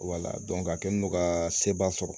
a kɛlen do ka seba sɔrɔ